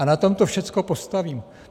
A na tom to všechno postaví.